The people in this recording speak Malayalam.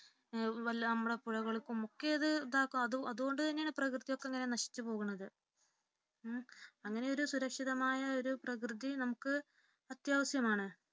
വല്ല നമ്മുടെ പുഴകൾക്കും മിക്കതും അതുകൊണ്ടു തന്നെയാണ് പ്രകൃതിയൊക്കെ ഇങ്ങനെ നശിച്ചു പോകുന്നത് അങ്ങനെ സുരക്ഷിതമായൊരു പ്രകൃതി നമുക്ക് അത്യാവശ്യമാണ്.